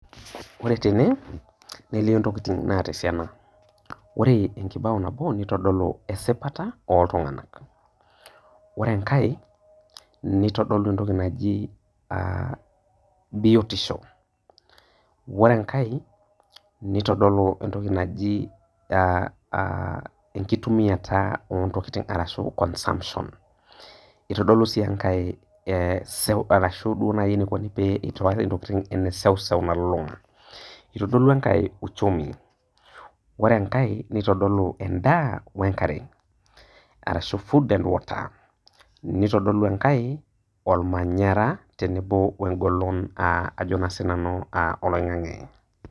Ore tene nelio ntokitin naata esiana, ore nabo na kitodolu esipata oltunganak ,ore enkae nitodolu entoki naji biotisho, ore enkae nitodolu entoki naji enkitumiata ontokitin ashu consumption itodolu sii enkae ene seuseu nalulunga, itodolu enkae uchumi ore enkae nitodolu endaa we nkare, nitodolu enkae ormanyara tenebo engolon ajo naa sinanu oloingangi.